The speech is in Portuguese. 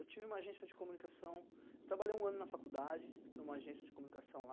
Eu tive uma agência de comunicação, trabalhei um ano na faculdade em uma agência de comunicação lá.